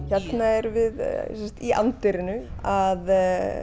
hérna erum við í anddyrinu að